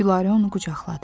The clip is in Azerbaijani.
Gülarə onu qucaqladı.